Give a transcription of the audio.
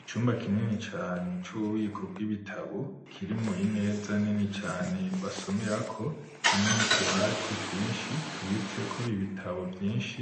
Icumba kinini cane, c'ububiko bw'ibitabo; kirimwo imeza, nini cane, basomerako, hamwe n'utubati twinshi, tuwitseko ibitabo vyinshi,